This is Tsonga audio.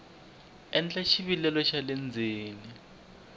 endla xivilelo xa le ndzeni